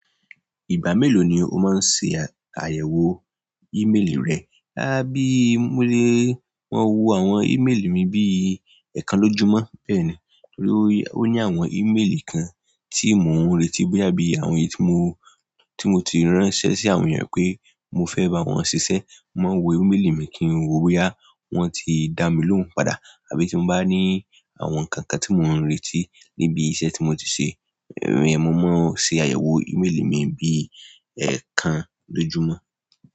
Ìgbà mélòó ni o máa ń ṣe àyẹ̀wò ìméèlì rẹ? Bí mo le maa wo àwọn ímélì mi bíi ẹẹkan lójúmọ́ bẹ́ẹ̀ ni. Torí ó ní àwọn ímélì kan tí mò ń retí boya bí i àwọn èyí tí mo, tí mo ti ránṣẹ́ sí àwọn èèyàn pé mo fẹ́ bá wọn ṣiṣẹ́. Mo maa ń wo ímélì mi kí n wò ó bóyá wọ́n ti dá mí lóhùn padà. Àbí tí mo bá ní àwọn nǹkan kan tí mò ń retí níbi iṣẹ́ tí mo ti ṣe, mò mo ń ṣe àyẹ̀wò ímélì mi bí ẹẹkan lójúmọ́.